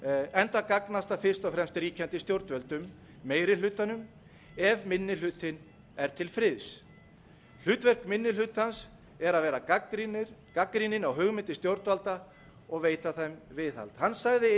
enda gagnast það fyrst og fremst ríkjandi stjórnvöldum meiri hlutanum ef minni hlutinn er til friðs hlutverk minni hlutans er að vera gagnrýninn á hugmyndir stjórnvalda og veita þeim aðhald hann sagði